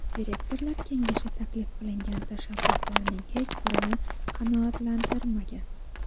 Direktorlar kengashi taklif qilingan tashabbuslarning hech birini qanoatlantirmagan.